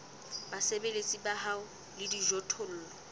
basebeletsi ba hao le dijothollo